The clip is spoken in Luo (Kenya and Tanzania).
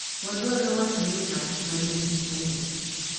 Wadwaro wacho ni ng’at ma nigi somo .